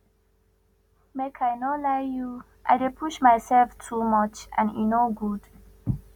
make i no lie you i dey push mysef too much and e no good